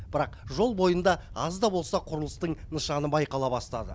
бірақ жол бойында аз да болса құрылыстың нышаны байқала бастады